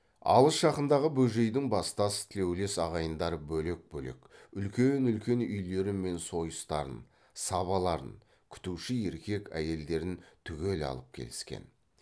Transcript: алыс жақындағы бөжейдің бастас тілеулес ағайындары бөлек бөлек үлкен үлкен үйлері мен сойыстарын сабаларын күтуші еркек әйелдерін түгел алып келіскен